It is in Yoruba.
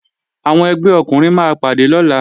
Àwọn ẹgbẹ́ ọkùnrin máa pàdé lọ́la